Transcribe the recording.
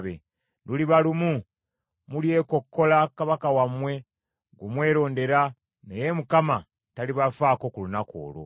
Luliba lumu, mulyekkokkola kabaka wammwe gwe mwerondera, naye Mukama talibafaako ku lunaku olwo.”